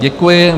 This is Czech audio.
Děkuji.